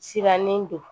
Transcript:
Sirannen don